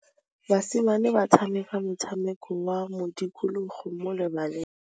Basimane ba tshameka motshameko wa modikologô mo lebaleng.